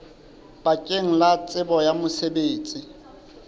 bakeng la tsebo ya mosebetsi